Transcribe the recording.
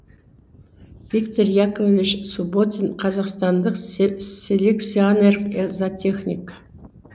қазақстандық